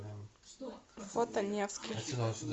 фото невский